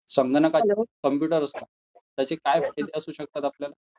संगणक याचे काय फायदे असू शकतात आपल्याला?